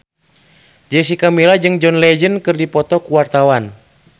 Jessica Milla jeung John Legend keur dipoto ku wartawan